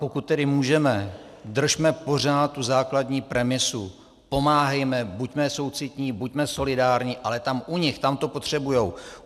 Pokud tedy můžeme, držme pořád tu základní premisu, pomáhejme, buďme soucitní, buďme solidární, ale tam u nich, tam to potřebují.